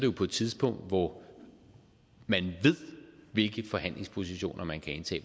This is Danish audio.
jo på et tidspunkt hvor man ved hvilke forhandlingspositioner man kan indtage